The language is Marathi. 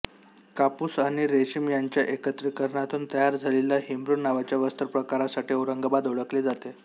कापूस आणि रेशीम यांच्या एकत्रिकरणातून तयार झालेल्या हिमरू नावाच्या वस्त्रप्रकारासाठी औरंगाबाद ओळखले जाते